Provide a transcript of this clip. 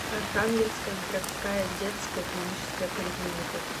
архангельская городская детская клиническая поликлиника